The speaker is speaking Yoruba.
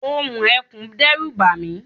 ohùn ekùn dẹ́rù bàmí